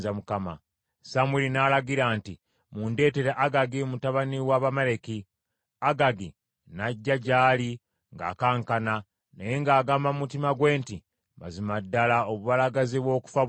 Samwiri n’alagira nti, “Mundeetere Agagi kabaka w’Abamaleki.” Agagi n’ajja gy’ali ng’akankana naye ng’agamba mu mutima gwe nti, “Mazima ddala obubalagaze bw’okufa buyise.”